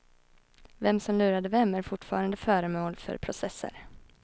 Vem som lurade vem är fortfarande föremål för processer.